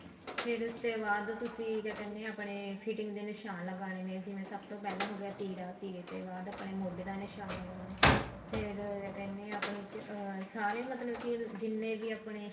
ਫੇਰ ਉਸ ਤੇ ਬਾਅਦ ਤੁਸੀਂ ਕਿਆ ਕਹਿੰਦੇ ਆ ਆਪਣੇ fitting ਦੇ ਨਿਸ਼ਾਨ ਲਗਾਨੇ ਨੇ ਜਿਵੇਂ ਸਭ ਤੋਂ ਪਹਿਲਾਂ ਹੋਗਿਆ ਤੀਰ ਤੀਰ ਤੇ ਬਾਅਦ ਆਪਾਂ ਮੋਢੇ ਤੇ ਨਿਸ਼ਾਨ ਲਗਾਨਾ ਫੇਰ ਕਹਿਨੇ ਆ ਸਾਰੇ ਆਪਣੇ ਅਹ ਸਾਰੇ ਮਤਲਬ ਕੇ ਜਿੰਨੇ ਕਿ ਆਪਣੇ